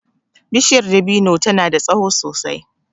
Bishiyar dabino ta na da tsaho sosai